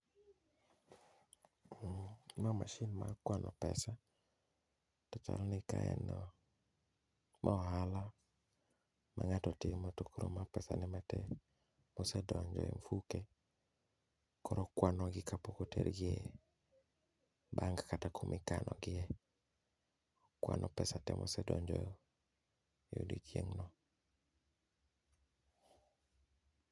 Ma mashin ma kwano pesa to chal ni ka aneno ma ohala ma ng'ato timo to koro ma pesa ne matin mosedonje mfuke koro okwano gi kapok otergi e bank kata kumi kano gie. Okwano pesa te mosedonjo e odiochieng'no.